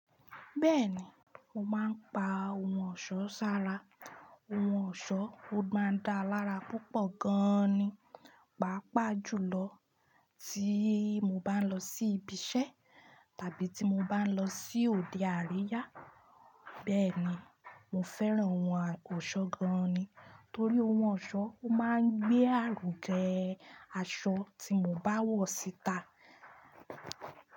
Bẹ́ẹ̀ni, mo máa ń pa ohun ọ̀ṣọ́ sára. Ohun ọ̀ṣọ́, ó máa ń dá lára púpọ̀ gan ni. Paapaa jùlọ tí mo bá ń lọ sí ibi iṣẹ́ tàbí tí mo bá ń lọ sí òde àríyá. Bẹ́ẹ̀ ni, mo fẹ́ran ohun oso gan ni. Torí ohun ọ̀ṣọ́, ó máa ń gbé àrùn jẹ aṣọ tí mo bá wọ̀ síta.